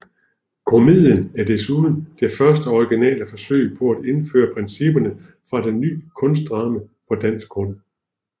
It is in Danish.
Komedien er desuden det første originale forsøg på at indføre principperne for det ny kunstdrama på dansk grund